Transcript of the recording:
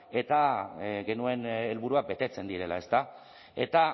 eta genuen helburuak betetzen direla ezta